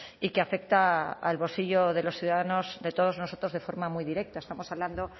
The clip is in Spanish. y que afecta al bolsillo de los ciudadanos de todos nosotros de forma muy directa estamos hablando